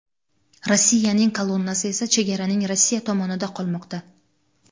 Rossiyaning kolonnasi esa chegaraning Rossiya tomonida qolmoqda.